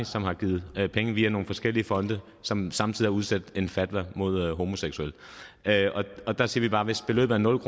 som har givet penge via nogle forskellige fonde og som samtidig har udsendt fatwa mod homoseksuelle der siger vi bare at hvis beløbet er nul